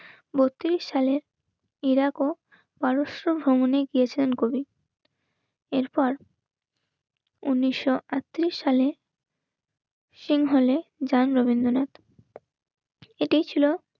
বত্রিশ সালে ইরাক ও পারস্য ভ্রমণে গিয়ছিলেন কবি. এরপর উনিশশো আটত্রিশ সালে সিংহ হলেন রবীন্দ্রনাথ এটাই ছিল